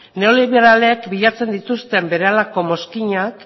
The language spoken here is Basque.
neoliberalek bilatzen dituzten berehalako mozkinak